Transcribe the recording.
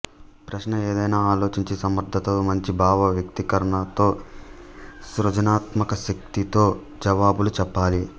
ప్రశ్న ఏదైనా ఆలోచించి సమర్థతతో మంచి భావ వ్యక్తీకరణతో సృజనాత్మకశక్తితో జవాబులు చెప్పాలి